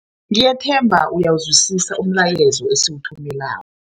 Ngiyathemba uyawuzwisisa umlayezo esiwuthumeleko.